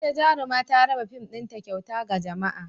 Wata jaruma ta raba fim ɗinta kyauta ga jama'a.